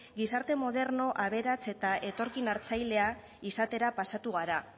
gizarte moderno aberats eta etorkin hartzailea izatera pasatu gara